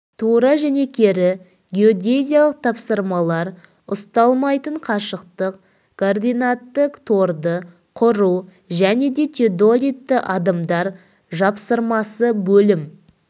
тура және кері геодезиялық тапсырмалар ұсталмайтын қашықтық координатты торды құру және де теодолитті адымдар жапсырмасы бөлім